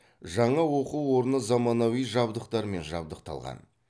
жаңа оқу орны заманауи жабдықтармен жабдықталған